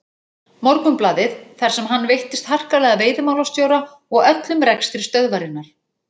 Morgunblaðið þar sem hann veittist harkalega að veiðimálastjóra og öllum rekstri stöðvarinnar.